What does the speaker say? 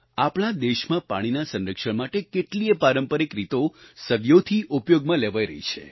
આપણા દેશમા પાણીના સંરક્ષણ માટે કેટલીયે પારંપારિક રીતો સદીઓથી ઉપયોગમાં લેવાઈ રહી છે